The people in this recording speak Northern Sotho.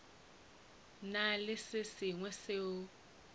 na le se sengwe seo